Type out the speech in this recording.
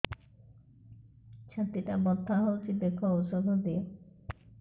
ଛାତି ଟା ବଥା ହଉଚି ଦେଖ ଔଷଧ ଦିଅ